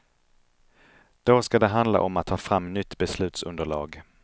Då skall det handla om att ta fram nytt beslutsunderlag.